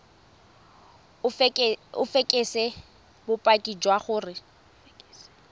o fekese bopaki jwa gore